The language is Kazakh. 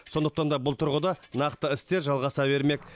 сондықтан да бұл тұрғыда нақты істер жалғаса бермек